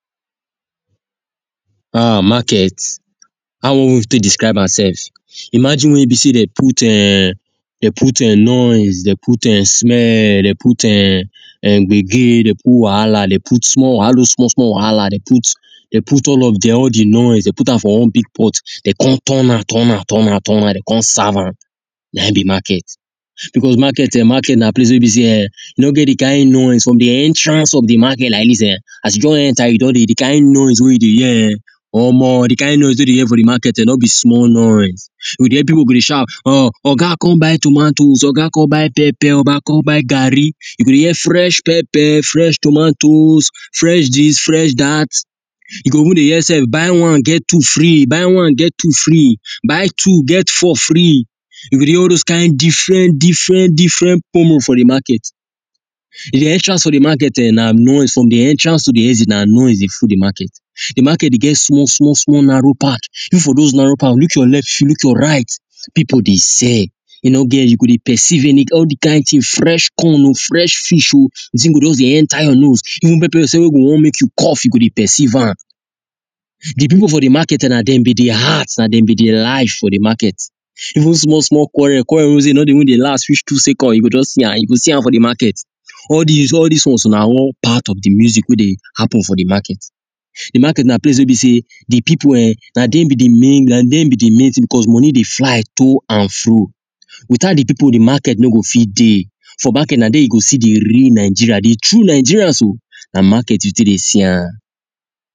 um market how we want take discribe am sef imagin where be say them put um them put [um noisse them put um smell them put um agin then put wahala them put small wahala all those small small wahala them put all of them all the noise them put am for one big pot them turn am turn am turn am turn am them come serve am nah in be market because market market nah place weh be say um e no get the kind noise from the entrance of the market like this um as you don enter you don deh the kind noise weh you deh hear um omo the kind noise weh we deh hear for the market um no be small noise we deh people go deh shout or oga come buy tomatoes oga come pepper oga come buy garri you go hear fresh papper fresh tomatoes fresh this fresh that you go even deh hear sef buy one get two free buy one get two free buy two get four free you go hear all those kind different different different promo for the market the entrance of the market um nah nois from the entrance to the exit nah noise deh full the place the market deh get small small small narrow part if for those narrow path if you look your left look your right people deh sell you know there you go deh persive any all the kind thing fresh corn o fresh fish o the thing go just deh enter your nose even pepper sef weh go want make you deh cough go deh persive am the people for the market nah them be the heart nah them be the life of the market even small small quarrel quarrel weh say e no deh last reach two seconds you go just see am you go see am for the market all these all these ones nah one part of the music weh deh happen for the market the market nah place weh be say the people um nah them be the main nah them be the main thing because that money deh fly to and fro without the people the market no go fit deh for market nah there you go see the real nigerians the true nigerians o nah market you take deh see am